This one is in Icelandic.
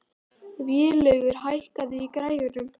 Vélaugur, hækkaðu í græjunum.